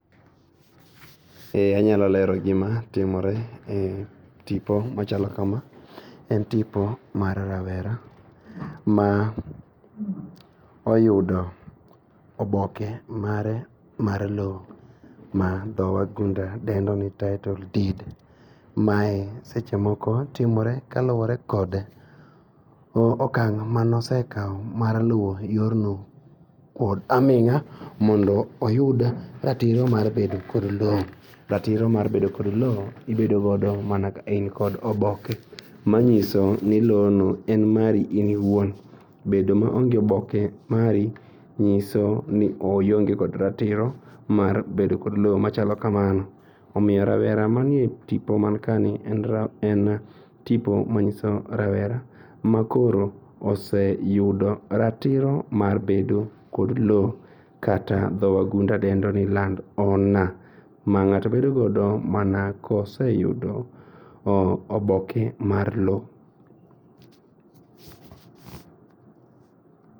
Eee, anyalo lero gima timore e tipo machalo kama. En tipo mar rawera ma oyudo oboke mare mar loo ma dhowagunda dendoni tittle deed. Mae sechemoko timore kaluore kod okang' manosekao mar luo yorno kod aming'a mondo oyud ratiro mar bedo kod loo mibedo godo mana ka in kod oboke manyisoni loo no en mari in iwuon. Bedo maonge oboke mari nyiso ni ionge kod ratiro mar bedo kod loo machalo kamano. Omiyo rawera manie tipo man kani, en tipo manyiso rawera makoro oseyudo ratiro mar bedo kod loo kata dho wagunda dendoni land owner. Ma ng'ato bedogodo mana koseyudo oboke mar loo.